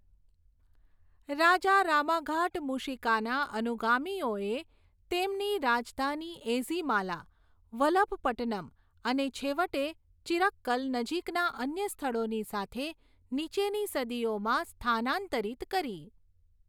રાજા રામાઘાટ મૂશિકાના અનુગામીઓએ તેમની રાજધાની એઝીમાલા, વલભપટ્ટનમ અને છેવટે ચિરક્કલ, નજીકના અન્ય સ્થળોની સાથે, નીચેની સદીઓમાં સ્થાનાંતરિત કરી.